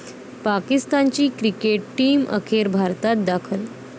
पाकिस्तानची cricket team अखेर भारतात दाखल